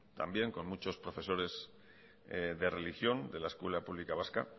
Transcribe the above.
también con muchos profesores de religión de la escuela pública vasca